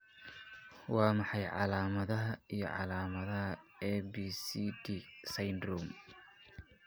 Waa maxay calaamadaha iyo calaamadaha ABCD syndrome?